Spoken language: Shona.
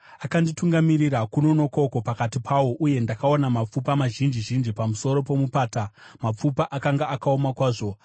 Akanditungamirira kuno nokoko pakati pawo, uye ndakaona mapfupa mazhinji zhinji pamusoro pomupata; mapfupa akanga akaoma kwazvo.